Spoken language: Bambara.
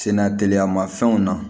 Senna teliya ma fɛnw na